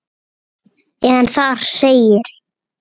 en þar segir